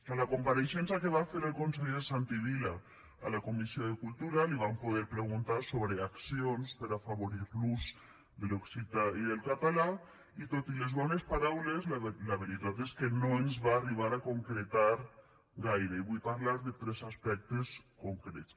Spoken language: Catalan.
a la compareixença que va fer el consell santi vila a la comissió de cultura li vam poder preguntar sobre accions per afavorir l’ús de l’occità i el català i tot i les bones paraules la veritat és que no ens va arribar a concretar gaire i vull parlar de tres aspectes concrets